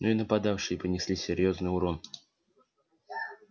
но и нападавшие понесли серьёзный урон